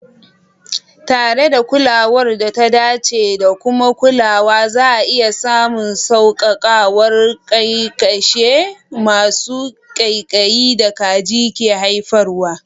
Tare da kulawar da ta dace da kuma kulawa, za'a iya samun sauƙaƙawar ƙyanƙyashe masu ƙaiƙayi da kaji ke haifarwa.